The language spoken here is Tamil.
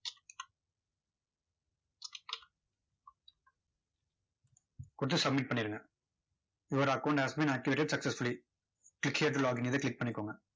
கொடுத்து submit பண்ணிருங்க. your account has been activated successsfully click here to login இதை click பண்ணிக்கோங்க.